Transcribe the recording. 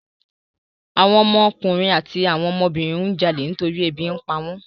Àwọn ọmọ ọkùnrin àti àwọn ọmọ obìnrin ń jalè nítorí ebi ń pawọ́n.